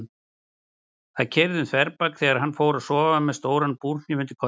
Það keyrði um þverbak þegar hann fór að sofa með stóran búrhníf undir koddanum.